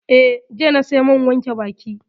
Eh, jiya na saya man wanke baki